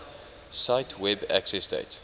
cite web accessdate